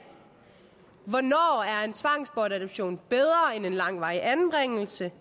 hvornår er en tvangsbortadoption bedre end en langvarig anbringelse